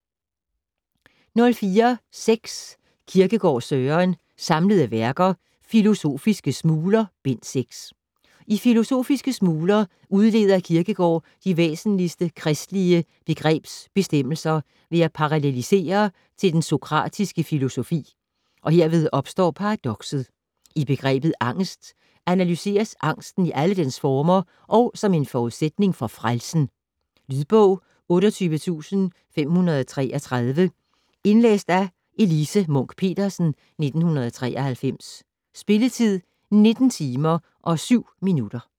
04.6 Kierkegaard, Søren: Samlede Værker: Philosophiske Smuler: Bind 6 I "Philosophiske Smuler" udleder Kierkegård de væsentligste kristelige begrebsbestemmelser ved at paralellisere til den sokratiske filosofi, og herved opstår paradokset. I "Begrebet Angest" analyseres angsten i alle dens former og som en forudsætning for frelsen. Lydbog 28533 Indlæst af Elise Munch-Petersen, 1993. Spilletid: 19 timer, 7 minutter.